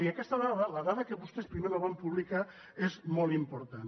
i aquesta dada la dada que vostès primer no van publicar és molt important